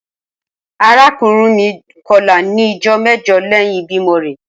Arakunrin mi kọla ni ijọ mẹjọ lẹhin ibimọ rẹ.